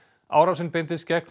árásin beindist gegn